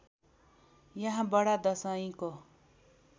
यहाँ बडा दशैँको